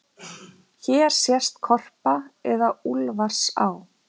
Hér sést Korpa eða Úlfarsá.